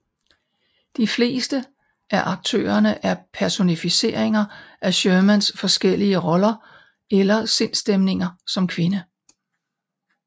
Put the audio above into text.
De fleste af aktørerne er personificeringer af Shermans forskellige roller eller sindsstemninger som kvinde